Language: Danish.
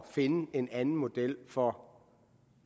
finde en anden model for